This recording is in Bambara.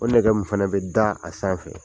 O nɛgɛ min fɛnɛ bɛ da a sanfɛ.